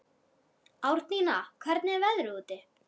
Árnína, hvernig er veðrið úti?